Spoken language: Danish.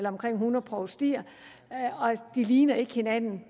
omkring hundrede provstier og de ligner ikke hinanden